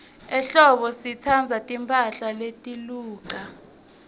ehlobo sitsandza timphahla letiluca